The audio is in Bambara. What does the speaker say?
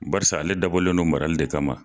Barisa ale dabɔlen don marali de kama